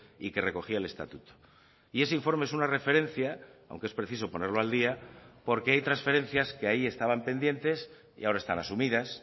y que recogía el estatuto y ese informe es una referencia aunque es preciso ponerlo al día porque hay transferencias que ahí estaban pendientes y ahora están asumidas